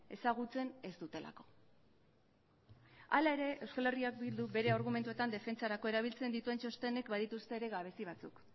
ezagutzen ez dutelako hala ere euskal herria bilduk bere argumentuetan defentsarako erabiltzen dituen txostenek badituzte ere gabezi batzuk